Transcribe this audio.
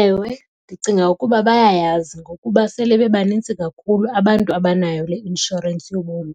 Ewe, ndicinga ukuba bayayazi ngokuba sele bebanintsi kakhulu abantu abanayo le inshorensi yobomi.